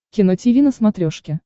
кино тиви на смотрешке